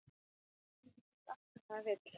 Maður getur ekki fengið allt sem maður vill.